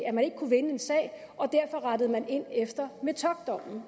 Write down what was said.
at man ikke kunne vinde en sag og derfor rettede man ind efter metockdommen